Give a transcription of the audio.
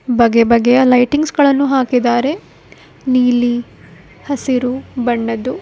ಬಗೆ ಬಗೆಯ ಲೈಟಿಂಗ್ಸ್ ಗಳನ್ನು ಹಾಕಿದ್ದಾರೆ ನೀಲಿ ಹಸಿರು ಬಣ್ಣದ್ದು.